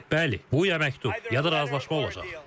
Bəli, bu ya məktub, ya da razılaşma olacaq.